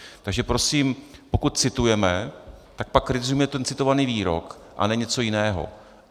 Takže prosím, pokud citujeme, tak pak kritizujme ten citovaný výrok a ne něco jiného.